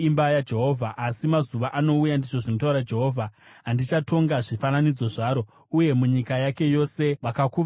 “Asi mazuva anouya,” ndizvo zvinotaura Jehovha, “andichatonga zvifananidzo zvaro, uye munyika yake yose vakakuvara vachagomera.